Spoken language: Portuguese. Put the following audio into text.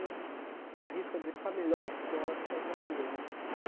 eu arrisco a dizer que foi a melhor escola na qual eu trabalhei né.